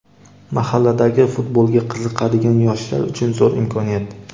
Mahalladagi futbolga qiziqadigan yoshlar uchun zo‘r imkoniyat.